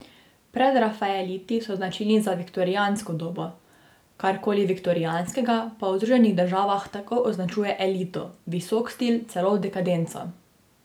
Predrafaeliti so značilni za viktorijansko dobo, kar koli viktorijanskega pa v Združenih državah takoj označuje elito, visok stil, celo dekadenco.